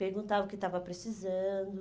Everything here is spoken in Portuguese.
Perguntava o que estava precisando.